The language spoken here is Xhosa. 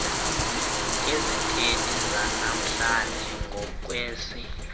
izithethi zanamhlanje ngokwesi